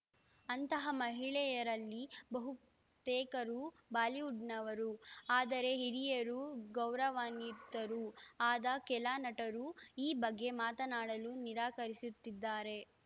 ಅಂತಹ ಮಹಿಳೆಯರಲ್ಲಿ ಬಹುತೇಕರು ಬಾಲಿವುಡ್‌ನವರು ಆದರೆ ಹಿರಿಯರು ಗೌರವಾನ್ವಿತರೂ ಆದ ಕೆಲ ನಟರು ಈ ಬಗ್ಗೆ ಮಾತನಾಡಲು ನಿರಾಕರಿಸುತ್ತಿದ್ದಾರೆ